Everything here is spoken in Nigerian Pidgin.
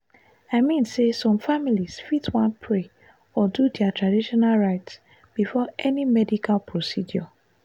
i mean say some families fit wan pray or do their traditional rites before any medical procedure.